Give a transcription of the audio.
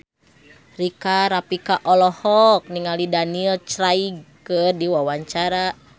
Rika Rafika olohok ningali Daniel Craig keur diwawancara